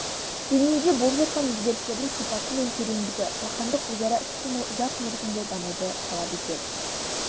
дүниеде болып жатқан өзгерістердің сипаты мен тереңдігі жаһандық өзара іс-қимыл ұзақ мерзімді дамуды талап етеді